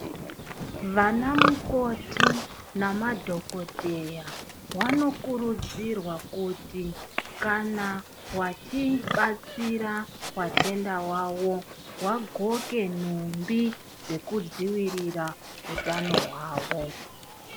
Vanamukoti namadhokodheya, vanokurudzirwa kuti kana vachibatsira watenda wawo waxoke nhumbi dzekudzivirira hutano wavo.